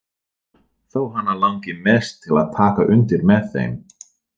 Þó hana langi mest til að taka undir með þeim.